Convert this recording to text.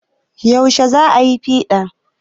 Yaushe za ayi piɗan?